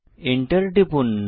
Enter টিপুন